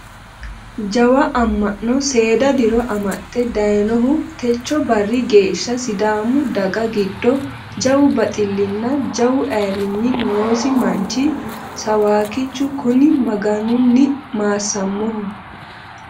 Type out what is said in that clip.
Jawa ama'no seeda diro amaxe daayinohu techo barri geeshsha sidaami daga giddo jawu baxilinna jawu ayirrinyi noosi manchi sawakkichu kuni Maganunni maassamoho.